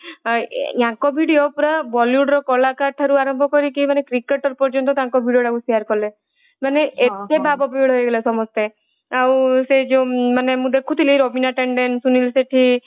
ଆଉ ୟାଙ୍କ video ପୁରା bollywood ର କଳାକାର ଠାରୁ ଆରମ୍ଭ କରିକି cricketer ପର୍ଯ୍ୟନ୍ତ ତାଙ୍କ video ଟାକୁ share କଲେ ମାନେ ମାନେ ଏତେ ଭାବବିହୋଳ ହେଇଗଲେ ସମସ୍ତେ ଆଉ ସେଇ ଯୋଊ ମୁଁ ଦେଖୁଥିଲି ରବିନା ଟେଣ୍ଡେନ ସୁନୀଲ ଶେଠୀ